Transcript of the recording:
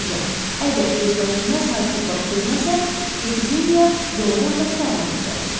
Ancaq əgər gözlənilməz hadisə baş verməsə, epidemiya doğrudan da qurtarmaq üzrədir.